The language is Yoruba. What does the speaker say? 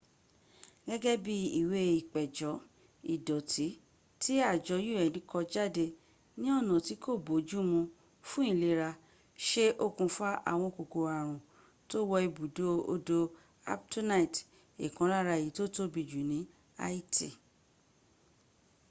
gẹ́gẹ́ bí ìwé ìpéjọ́ ìdọ̀tí tí àjọ un kó jáde ní ọ̀nà tí kó boójú mú fún ìlera ṣe okùnfà àwọn kòkòrò àrùn tó wọ ibùdó odò artbonite ìkan lára èyí tó tóbi jù ní haiti